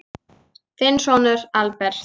Þinn sonur, Albert.